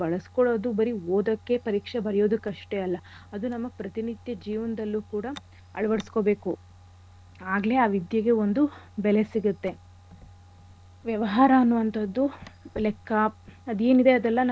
ಬಳ್ಸ್ಕೊಳೋದು ಬರೀ ಓದಕ್ಕೆ ಪರೀಕ್ಷೆ ಬರ್ಯೋದಕ್ ಅಷ್ಟೇ ಅಲ್ಲ , ಅದು ನಮ್ಮ ಪ್ರತಿ ನಿತ್ಯ ಜೀವನದಲ್ಲೂ ಕೂಡ ಅಳವಡ್ಸ್ಕೊಬೇಕು. ಆಗ್ಲೇ ಆ ವಿದ್ಯೆಗೆ ಒಂದು ಬೆಲೆ ಸಿಗತ್ತೆ. ವ್ಯವಹಾರ ಅನ್ನೋ ಅಂಥದ್ದು ಲೆಕ್ಕ ಅದ್ ಏನಿದೆ ಅದೆಲ್ಲ